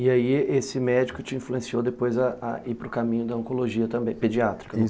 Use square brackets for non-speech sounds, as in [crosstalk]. E aí esse médico te influenciou depois a ir para o caminho da oncologia também, pediátrica, [unintelligible] isso